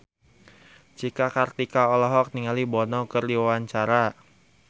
Cika Kartika olohok ningali Bono keur diwawancara